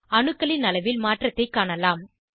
அணுக்களின் அளவில் மாற்றத்தை காணலாம்